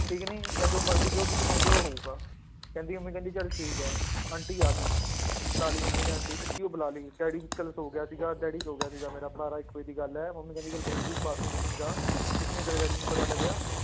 ਠੀਕ ਨੀ ਜਾਂ ਜੋ ਮਰਜ਼ੀ ਜੋ ਤੁਸੀਂ ਕਹੋਂਗੇ ਉਹ ਹੋਊਗਾ, ਕਹਿੰਦੀ ਮੰਮੀ ਕਹਿੰਦੀ ਚੱਲ ਠੀਕ ਹੈ, ਆਂਟੀ ਆ ਗਈ, ਬੁਲਾ ਲਈ ਮੰਮੀ ਨੇ ਆਂਟੀ ਸੱਚੀਓ ਬੁਲਾ ਲਈ ਡੈਡੀ ਚੱਲ ਸੌਂ ਗਿਆ ਸੀਗਾ, ਡੈਡੀ ਸੌਂ ਗਿਆ ਸੀਗਾ ਮੇਰਾ ਬਾਰਾਂ ਇੱਕ ਵਜੇ ਦੀ ਗੱਲ ਹੈ, ਮੰਮੀ ਕਹਿੰਦੀ ਚੱਲ ਕੋਈ ਨੀ ਤੁੰ ਬਾਥਰੂਮ ਬੂਥਰੂਮ ਜਾ ਕੁਛ ਨੀ ਤੇਰੇ ਡੈਡੀ ਨੂੰ ਪਤਾ ਲੱਗਿਆ,